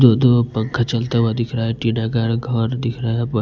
जो दो पंखा चलता हुआ दिख रहा हैं टीना का घर दिख रहा है बन--